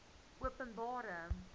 openbare